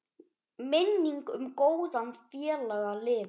Minning um góðan félaga lifir.